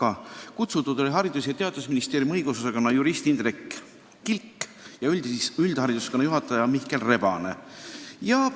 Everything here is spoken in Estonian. Osalema olid kutsutud ka Haridus- ja Teadusministeeriumi õigusosakonna jurist Indrek Kilk ja üldharidusosakonna juhataja Mihkel Rebane.